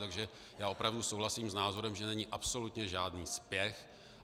Takže já opravdu souhlasím s názorem, že není absolutně žádný spěch.